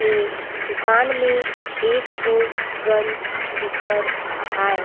ए दुकान में एक ठो गंज दिखत आहाए ।